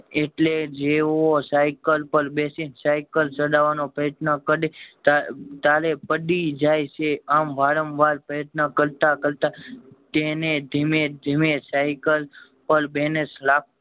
એટલે જેવો સાયકલ પર બેસીન પડી સાયકલ ચલાવાનો પ્રયત્ન કરે કરે તા તારે પડી જાય છે આમ વારંવાર પ્રયત્ન કરતા કરતા તેને ધીમે ધીમે સાયકલ પર બેલેન્સ રા